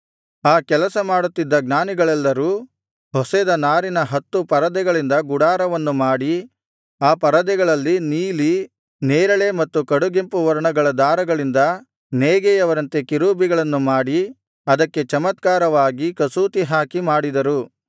ಆ ಕೆಲಸ ಮಾಡುತ್ತಿದ್ದ ಜ್ಞಾನಿಗಳೆಲ್ಲರು ಹೊಸೆದ ನಾರಿನ ಹತ್ತು ಪರದೆಗಳಿಂದ ಗುಡಾರವನ್ನು ಮಾಡಿ ಆ ಪರದೆಗಳಲ್ಲಿ ನೀಲಿ ನೇರಳೆ ಮತ್ತು ಕಡುಗೆಂಪು ವರ್ಣಗಳ ದಾರಗಳಿಂದ ನೇಯ್ಗೆಯವರಂತೆ ಕೆರೂಬಿಗಳನ್ನು ಮಾಡಿ ಅದಕ್ಕೆ ಚಮತ್ಕಾರವಾಗಿ ಕಸೂತಿ ಹಾಕಿ ಮಾಡಿದರು